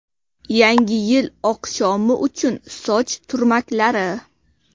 Yangi yil oqshomi uchun soch turmaklari.